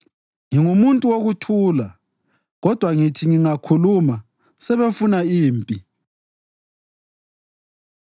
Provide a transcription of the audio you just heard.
Ngingumuntu wokuthula; kodwa ngithi ngingakhuluma, sebefuna impi.